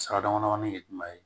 Sira dama damani ye jumɛn ye